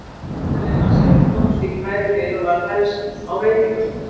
Ítalina sem við komumst í tæri við og var helst á veitingastöðum.